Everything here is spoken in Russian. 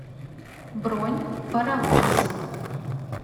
бронь паровоз